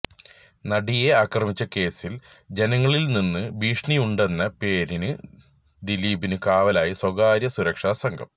നടിയെ ആക്രമിച്ച കേസില് ജനങ്ങളില്നിന്നു ഭീഷണിയുണ്ടെന്ന പേരില് ദിലീപിനു കാവലായി സ്വകാര്യ സുരക്ഷാ സംഘം